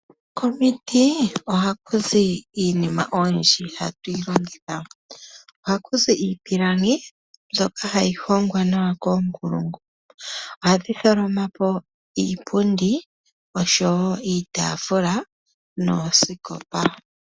Komiti ohaku zi iinima oyindji hatu yi longitha. Ohaku zi iipilangi mbyoka hayi hongwa nawa koonkulungu. Ohadhi tholoma po iipundi, oshowo iitaafula noosikopa.